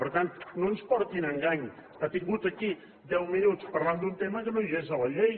per tant no ens portin a engany ha estat aquí deu minuts parlant d’un tema que no hi és a la llei